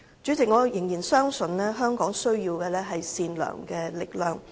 主席，我仍然相信香港需要善良的力量。